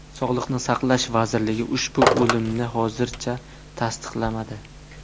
Sog‘liqni saqlash vazirligi ushbu o‘limni hozircha tasdiqlamadi.